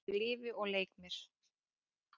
Ég lifi og leik mér.